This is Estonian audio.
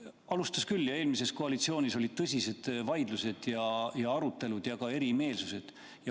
Algatas küll ja eelmises koalitsioonis olid tõsised vaidlused, arutelud ja ka erimeelsused.